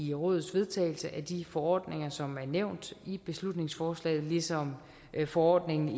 i rådets vedtagelse af de forordninger som er nævnt i beslutningsforslaget ligesom forordningerne